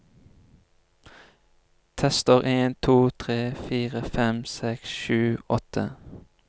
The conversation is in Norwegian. Tester en to tre fire fem seks sju åtte